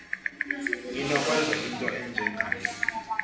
inokwenzeka into enjengale